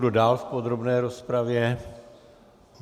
Kdo dál v podrobné rozpravě?